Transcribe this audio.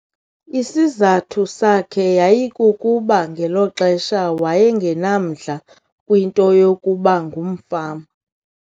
Isizathu sakhe yayikukuba ngelo xesha waye ngenamdla kwinto yokuba ngumfama.